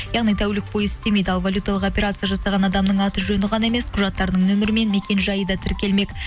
яғни тәулік бойы істемейді ал волюталық операция жасаған адамның аты жөні ғана емес құжаттарының нөмірі мен мекен жайы да тіркелмек